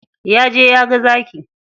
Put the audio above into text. Ya je ya ga zaki.